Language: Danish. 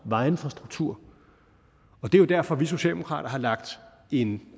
vejinfrastruktur og det er jo derfor at vi socialdemokrater har lagt en